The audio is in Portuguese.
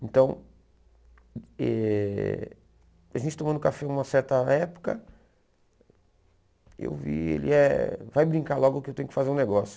Então, eh a gente tomando café numa certa época, eu vi, ele é, vai brincar logo que eu tenho que fazer um negócio.